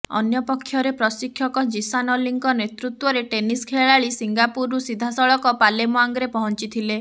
ଅନ୍ୟପକ୍ଷରେ ପ୍ରଶିକ୍ଷକ ଜୀସାନ୍ ଅଲ୍ଲୀଙ୍କ ନେତୃତ୍ୱରେ ଟେନିସ ଖେଳାଳି ସିଙ୍ଗାପୁରରୁ ସିଧାସଳଖ ପାଲେମ୍ବାଙ୍ଗ୍ ପହଞ୍ଚିଥିଲେ